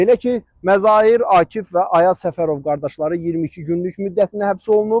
Belə ki, Məzahir, Akif və Ayaz Səfərov qardaşları 22 günlük müddətinə həbs olunub.